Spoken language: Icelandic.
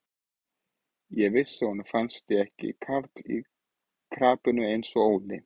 Ég vissi að honum fannst ég ekki karl í krapinu eins og Óli.